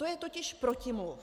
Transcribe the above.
To je totiž protimluv.